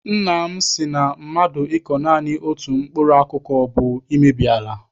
Nna m sị na mmadụ ịkọ naanị otu mkpụrụ akụkụ bụ imebi ala.